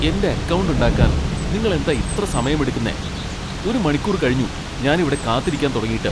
എന്റെ അക്കൗണ്ട് ഉണ്ടാക്കാൻ നിങ്ങൾ എന്താ ഇത്ര സമയം എടുക്കുന്നെ? ഒരു മണിക്കൂർ കഴിഞ്ഞു ഞാനിവിടെ കാത്തിരിക്കാൻ തുടങ്ങീട്ട് !